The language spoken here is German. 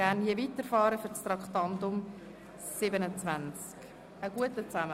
Gerne möchte ich pünktlich um 17.00 Uhr mit dem Traktandum 27 weiterfahren.